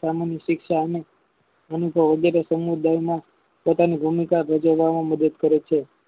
સામાન્ય શિક્ષા અને અનુભવો વગેરે સમુદાયમાં પ્રકારની ભૂમિકા ભજજવવામાં મદદ કરે છે